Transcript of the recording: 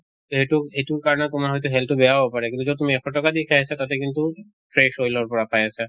এইটো এইটো কাৰণে তোমাৰ হয়্তু health তো বেয়াও হʼব পাৰে কিন্তু যʼত তুমি এশ ট্কা দি খাই আছা তাতে কিন্তু fresh oil ৰ পৰা পাই আছা।